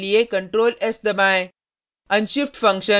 file save करने के लिए ctrl + s दबाएँ